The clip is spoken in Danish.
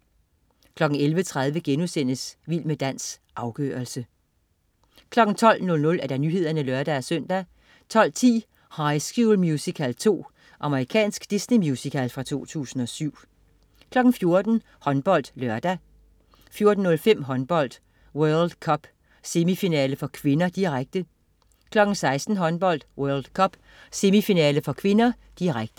11.30 Vild med dans. Afgørelsen* 12.00 Nyhederne (lør-søn) 12.10 High School Musical 2. Amerikansk Disney-musical fra 2007 14.00 HåndboldLørdag 14.05 Håndbold: World Cup. Semifinale (k), direkte 16.00 Håndbold: World Cup. Semifinale (k), direkte